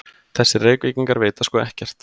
Þessir Reykvíkingar vita sko ekkert!